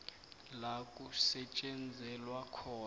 la kusetjenzelwa khona